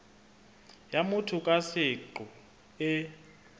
ya motho ka seqo e